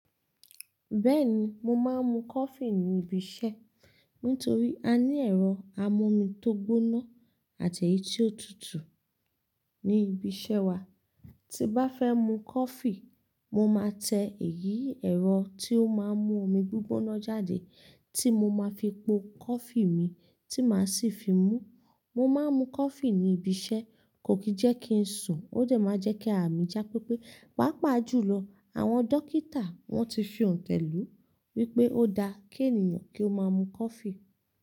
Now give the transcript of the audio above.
Bẹ́ẹ̀ni, mo máa ń mu coffee ní ibi iṣẹ́ nítorí a ní ẹ̀rọ amómí tó gbóná àti èyí tí ó tutù ní ibi iṣẹ́ wa. Tí n bá fẹ́ mu coffee, mo máa tẹ èyí ẹ̀rọ tí ó máa ń mú omi gbígbóná jáde tí mo máa fi po coffee mi tí màá sì fi mú. Mo máa ń mu coffee ní ibi iṣẹ́ kò kí jẹ́ kí n sùn, ó dẹ máa jẹ́ kí àra mi já pépé. Pàápàá jùlọ àwọn dókítà wọ́n ti fi òǹtẹ̀ lù wípé ó da kí ènìyàn kí ó máa mu coffee.